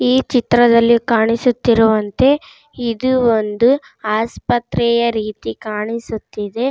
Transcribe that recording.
ಈ ಚಿತ್ರದಲ್ಲಿ ಕಾಣಿಸುತ್ತಿರುವಂತೆ ಇದು ಒಂದು ಆಸ್ಪತ್ರೆಯ ರೀತಿ ಕಾಣಿಸುತ್ತಿದೆ.